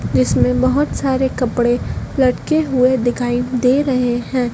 जिसमें बहोत सारे कपड़े लटके हुए दिखाई दे रहे हैं।